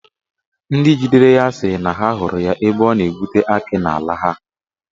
Ndị jidere ya si na ha hụrụ ya ebe ọ na-egbutu akị n'ala ha.